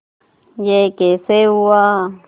यह कैसे हुआ